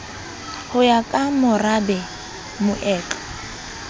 ho ya ka merabe moetlo